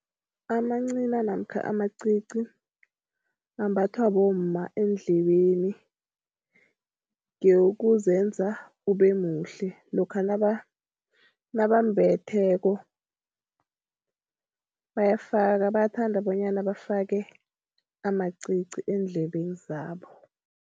Amancina namkha amacici, ambathwa bomma endlebeni. Ngewokuzenza ube muhle, lokha nabambetheko bayafaka, bayathanda bonyana bafake amacici eendlebeni zabo.